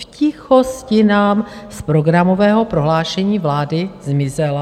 V tichosti nám z programového prohlášení vlády zmizela.